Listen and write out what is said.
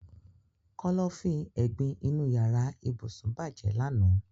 Kọ́lọ́fín ẹ̀gbin inú yàrá ibùsùn bàjẹ́ lànà